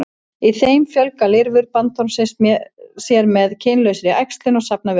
í þeim fjölga lirfur bandormsins sér með kynlausri æxlun og safna vökva